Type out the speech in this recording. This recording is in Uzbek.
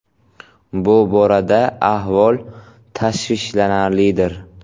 Bu borada ahvol tashvishlanarlidir.